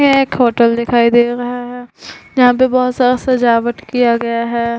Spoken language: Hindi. ये एक होटल दिखाई दे रहा है। यहाँ पे बहुत सारा सजावट किया गया है।